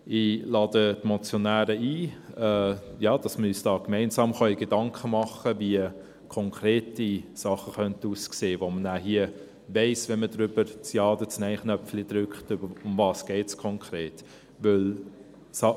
Ich lade die Motionäre ein, dass wir uns gemeinsam Gedanken machen können, wie konkrete Dinge aussehen könnten, bei denen man nachher hier weiss, um was es konkret geht, wenn man den Ja- oder den Nein-Knopf drückt.